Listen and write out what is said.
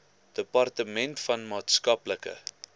departement van maatskaplike